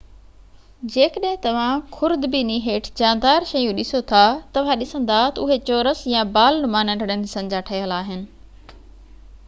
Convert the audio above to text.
جيڪڏهن توهان خوردبينيءَ هيٺ جاندار شيون ڏسو ٿا توهان ڏسندا ته اهي چورس يا بال نما ننڍڙن حصن جا ٺهيل آهن